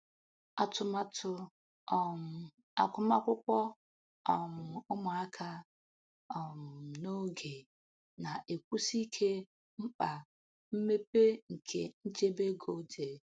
Atụmatụ um agụmakwụkwọ um ụmụaka um n'oge na-ekwusi ike mkpa mmepe nke nchebe ego dị.